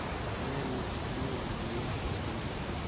Malero ma en ni ng'ano nigi lokruok manyien